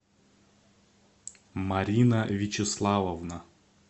марина вячеславовна